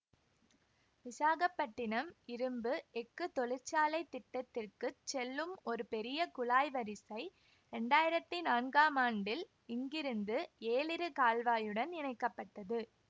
விசாகப்பட்டிணம் இரும்பு எஃகு தொழிற்சாலைத் திட்டத்திற்குச் செல்லும் ஒரு பெரிய குழாய் வரிசை இரண்டாயிரத்தி நான்காம் ஆண்டில் இங்கிருந்து ஏலிரு கால்வாயுடன் இணைக்க பட்டது